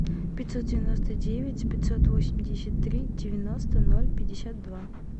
пятьсот девяносто девять пятьсот восемьдесят три девяносто ноль пятьдесят два